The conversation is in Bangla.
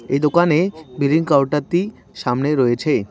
এই দোকানে বিলিং কাউন্টারটি সামনে রয়েছে।